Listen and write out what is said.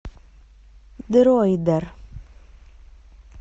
дроидер